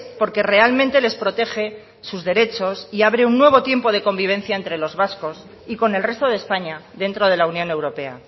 porque realmente les protege sus derechos y abre un nuevo tiempo de convivencia entre los vascos y con el resto de españa dentro de la unión europea